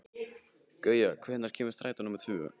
Gauja, hvenær kemur strætó númer tvö?